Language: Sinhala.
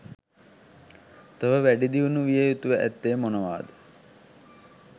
තව වැඩිදියුණු විය යුතුව ඇත්තේ මොනවාද?